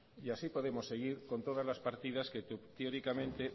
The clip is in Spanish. y así podemos seguir con todas las partidas que teóricamente